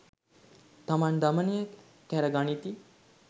තමන් දමනය කැර ගනිති.